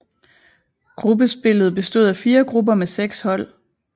Gruppespillet bestod af fire grupper med seks hold